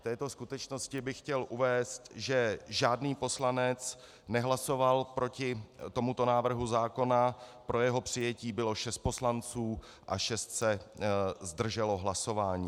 K této skutečnosti bych chtěl uvést, že žádný poslanec nehlasoval proti tomuto návrhu zákona, pro jeho přijetí bylo 6 poslanců a 6 se zdrželo hlasování.